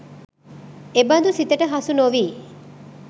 එබඳු සිතට හසු නොවී